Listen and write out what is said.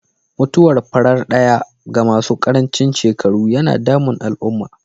Mutuwar farar ɗaya ga masu karancin shekaru yana damun al'umma.